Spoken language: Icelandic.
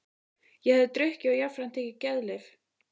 Ég hafði drukkið og jafnframt tekið geðlyf.